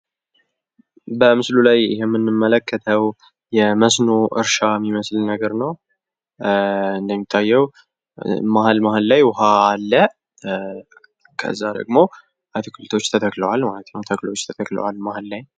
በመስሉ ላይ የምንመለከተዉ የመስኖ እርሻ እሚመስልነገር ነዉ። እንደሚታየዉ መሀል መሀል ላይ ዉኃ አለ። ከዛ ደግሞ አትክልቶች ተተክለዋል ማለት ነዉ። ተክሎች ተተክለዋል መሀል ላይ፤